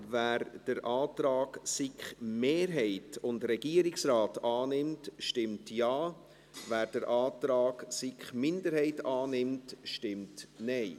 Wer den Antrag SiK-Mehrheit und Regierungsrat annimmt, stimmt Ja, wer den Antrag SiK-Minderheit annimmt, stimmt Nein.